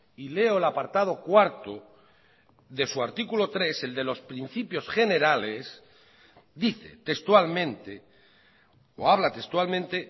y leo el apartado cuarto de su artículo tres el de los principios generales dice textualmente o habla textualmente